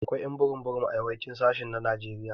Akwai ƴ'an burum burum a yawancin sashi na Najeriya.